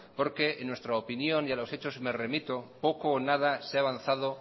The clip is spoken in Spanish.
porque en nuestra opinión y a los hechos me remito poco o nada se ha avanzado